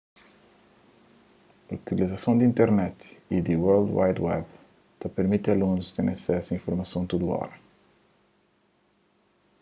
utilizason di internet y di world wide web ta pirmiti alunus ten asesu a informason tudu óra